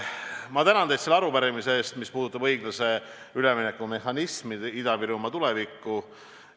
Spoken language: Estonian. Ma tänan teid selle arupärimise eest, mis puudutab õiglase ülemineku mehhanismi, Ida-Virumaa tulevikku.